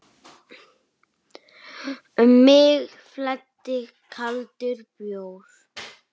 Um mig flæddi kaldur bjór.